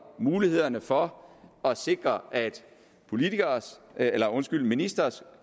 mulighederne for at sikre at at ministres